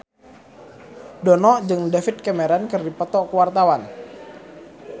Dono jeung David Cameron keur dipoto ku wartawan